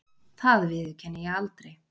Það viðurkenni ég aldrei.